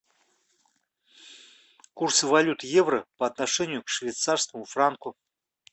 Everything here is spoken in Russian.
курс валют евро по отношению к швейцарскому франку